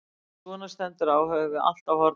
Þegar svo stendur á höfum við allt á hornum okkar.